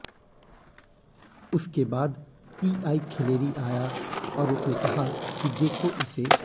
उसके बाद पीआई खिलेरी आया और उसने कहा कि देखो इसे